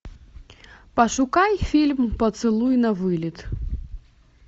пошукай фильм поцелуй на вылет